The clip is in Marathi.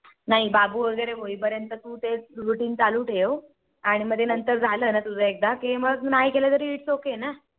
नाही बाबू वैगेरे होई पर्यंततू ते Routine चालू ठेव. आणि मग ते झालं ना तुझं एकदा मग नाही केलं तरी Its ok ना